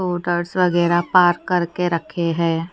वगैरा पार्क करके रखे हैं।